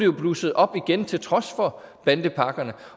jo blusset op igen til trods for bandepakkerne